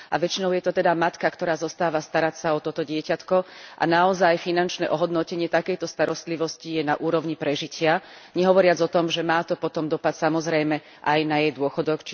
A väčšinou je to teda matka, ktorá zostáva starať sa o toto dieťatko a naozaj finančné ohodnotenie takejto starostlivosti je na úrovni prežitia, nehovoriac o tom, že má to potom dopad, samozrejme, aj na jej dôchodok.